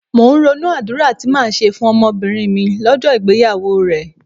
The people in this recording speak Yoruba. Mò ń ronú àdúrà tí màá ṣe fún ọmọbìnrin mi lọ́jọ́ ìgbéyàwó rẹ̀.